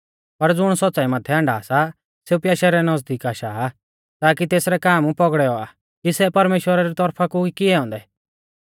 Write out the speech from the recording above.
पर ज़ुण सौच़्च़ाई माथै आण्डा सा सेऊ प्याशै रै नज़दीक आशा आ ताकी तेसरै काम पौगड़ै औआ कि सै परमेश्‍वरा री तौरफा कु ई किऐ औन्दै